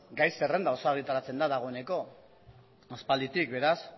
gai zerrenda osoa egitaratzen da dagoeneko aspalditik beraz